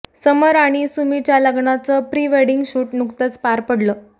समर आणि सुमीच्या लग्नाचं प्री वेडिंग शूट नुकतंच पार पडलं